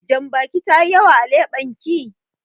Jambakin tayi yawa a leɓen ki.